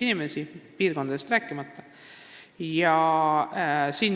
inimesi kõige rohkem, rääkimata piirkondadest.